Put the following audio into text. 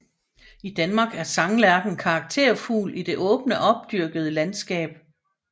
I Danmark er sanglærken karakterfugl i det åbne opdyrkede landskab